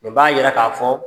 Nin jira k'a fɔ